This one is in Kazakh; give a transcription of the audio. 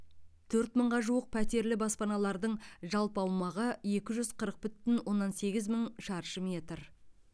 төрт мыңға жуық пәтерлі баспаналардың жалпы аумағы екі жүз қырық бүтін оннан сегіз мың шаршы метр